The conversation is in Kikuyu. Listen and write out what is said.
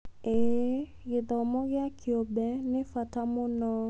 ĩĩ, gĩthomo gĩa kĩũmbe nĩ bata mũno.